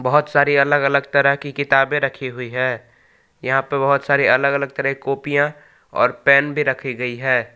बहुत सारी अलग अलग तरह की किताबें रखी हुई है यहां पे बहुत सारी अलग अलग तरह कॉपियां और पेन भी रखी गई है।